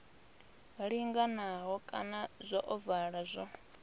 linganaho kana zwa ovala zwo